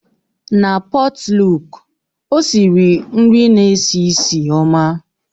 Na pọtluk, ọ siri nri na-esi ísì ọma.